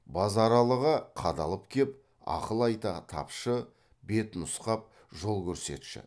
базаралыға қадалып кеп ақыл айта тапшы бет нұсқап жол көрсетші